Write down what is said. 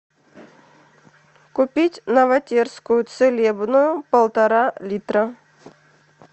купить новотерскую целебную полтора литра